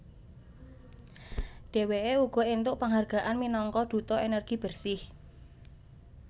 Dheweke uga entuk penghargaan minangka Duta Energi Bersih